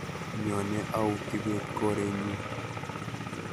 Nyone au kibet korenyu